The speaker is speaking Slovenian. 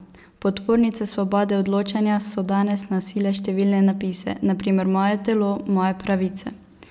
Podpornice svobode odločanja so danes nosile številne napise, na primer Moje telo, moje pravice!